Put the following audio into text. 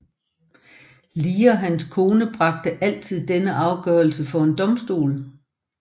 Lee og hans kone bragte aldrig denne afgørelse for en domstol